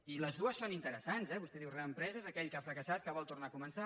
i les dues són interessants eh vostè diu reempresa és aquell que ha fracassat que vol tornar a començar